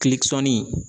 Kilekisɛnin